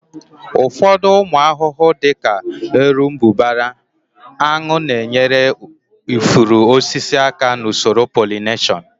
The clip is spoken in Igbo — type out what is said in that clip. Ụfọdụ ụmụ ahụhụ dị ka erombụbara, aṅụ na-enyere ifuru osisi aka n'usoro polineshọn